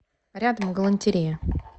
рядом галантерея